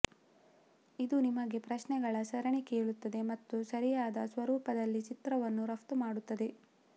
ಇದು ನಿಮಗೆ ಪ್ರಶ್ನೆಗಳ ಸರಣಿ ಕೇಳುತ್ತದೆ ಮತ್ತು ಸರಿಯಾದ ಸ್ವರೂಪದಲ್ಲಿ ಚಿತ್ರವನ್ನು ರಫ್ತು ಮಾಡುತ್ತದೆ